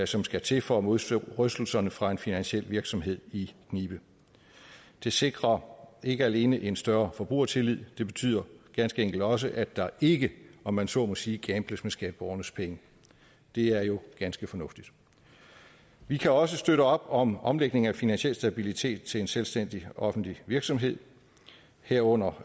som skal til for at modstå rystelserne fra en finansiel virksomhed i knibe det sikrer ikke alene en større forbrugertillid det betyder ganske enkelt også at der ikke om man så må sige kan skatteborgernes penge det er jo ganske fornuftigt vi kan også støtte op om omlægningen af finansiel stabilitet til en selvstændig offentlig virksomhed herunder